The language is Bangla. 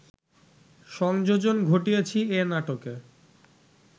সংযোজন ঘটিয়েছি এ নাটকে